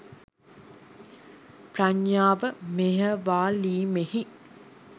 ප්‍රඥාව මෙහෙයවාලීමෙහි